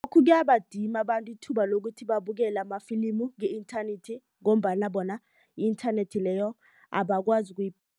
Kuyabadima abantu ithuba lokuthi babukele amafilimu nge-inthanethi ngombana bona i-inthanethi leyo abakwazi